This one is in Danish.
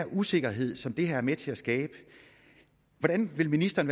usikkerhed som det her er med til at skabe hvordan vil ministeren